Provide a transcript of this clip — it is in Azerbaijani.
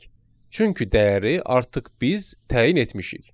Çünki dəyəri artıq biz təyin etmişik.